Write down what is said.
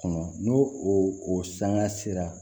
Kɔnɔ n'o o sanga sera